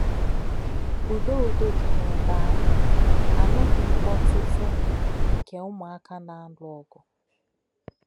Údò̄ Údò̄ dí̄ n’èbè̄ àhụ̄, ā nù̄ghì̄ mkpòtù̄tù̄ nkè̄ ǔmụ́áká̄ nā-álụ̀ ọ̀gụ̀.